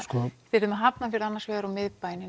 eruð með Hafnarfjörðinn annars vegar og miðbæinn